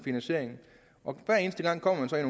eneste gang kommer man så i